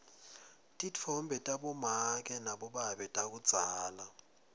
titfombe tabomake nabobabe takudzala